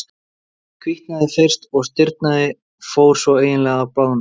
Hvítnaði fyrst, og stirðnaði, fór svo eiginlega að blána.